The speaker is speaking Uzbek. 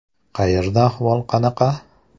Qayerda ahvol qanaqa?